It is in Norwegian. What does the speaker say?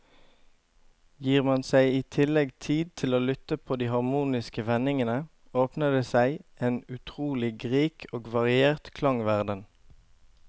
Gir man seg i tillegg tid til å lytte på de harmoniske vendingene, åpner det seg en utrolig rik og variert klangverden.